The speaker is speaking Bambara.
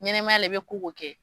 Ɲɛnɛmaya la, i bɛ ko o ko kɛ.